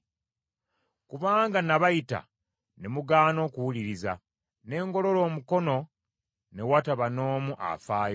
Kubanga na bayita ne mugaana okuwuliriza, ne ngolola omukono ne wataba n’omu afaayo,